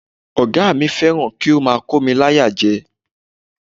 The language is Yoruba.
Ọ̀gá mi fẹ́ràn kí ó máa kómi láyà jẹ.